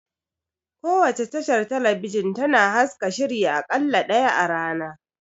Kowace tashar talabijin tana haska shiri a ƙalla ɗaya a rana